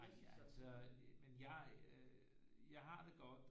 Nej altså men jeg øh jeg har det godt